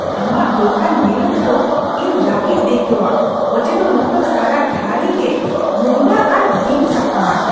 ᱟᱢᱟᱜ ᱫᱳᱠᱟᱱ ᱧᱮᱞ ᱚᱠᱛᱚ ᱤᱧ ᱨᱟᱹᱜᱤᱧ ᱟᱹᱭᱠᱟᱹᱣᱟ ᱚᱡᱮ ᱫᱚ ᱱᱚᱶᱟ ᱫᱚ ᱥᱟᱨᱟ ᱜᱷᱟᱹᱲᱤ ᱜᱮ ᱱᱚᱝᱨᱟ ᱟᱨ ᱵᱤᱱᱼᱥᱟᱯᱷᱟᱣᱟᱱ ᱾